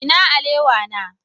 Ina alewa na?